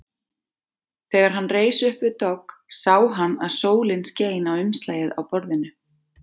Þegar hann reis upp við dogg sá hann að sólin skein á umslagið á borðinu.